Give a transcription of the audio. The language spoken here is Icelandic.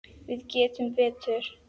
Við getum betur.